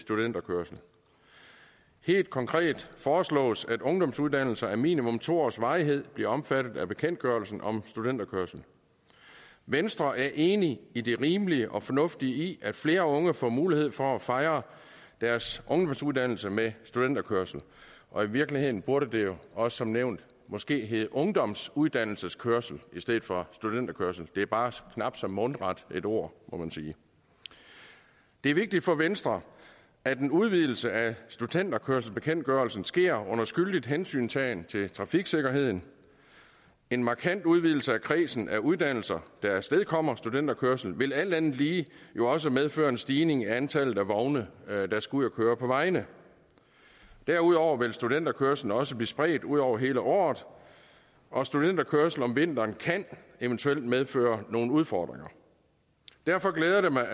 studenterkørsel helt konkret foreslås at ungdomsuddannelser af minimum to års varighed bliver omfattet af bekendtgørelsen om studenterkørsel venstre er enig i det rimelige og fornuftige i at flere unge får mulighed for at fejre deres ungdomsuddannelse med studenterkørsel og i virkeligheden burde det jo også som nævnt måske hedde ungdomsuddannelseskørsel i stedet for studenterkørsel det er bare knap så mundret et ord må man sige det er vigtigt for venstre at en udvidelse af studenterkørselsbekendtgørelsen sker under skyldig hensyntagen til trafiksikkerheden en markant udvidelse af kredsen af uddannelser der afstedkommer studenterkørsel vil alt andet lige jo også medføre en stigning i antallet af vogne der skal ud at køre på vejene derudover vil studenterkørslen også blive spredt ud over hele året og studenterkørsel om vinteren kan eventuelt medføre nogle udfordringer derfor glæder det mig